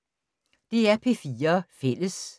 DR P4 Fælles